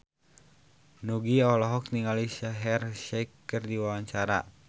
Nugie olohok ningali Shaheer Sheikh keur diwawancara